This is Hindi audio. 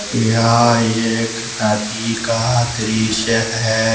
यह एक नदी का दृश्य है।